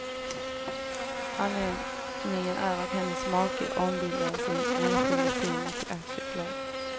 Anledningen är att hennes make ombildade sin enskilda firma till aktiebolag.